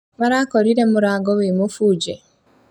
Marakorire mũrango wĩ mũbunje